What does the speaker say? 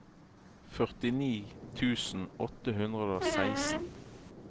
førtini tusen åtte hundre og seksten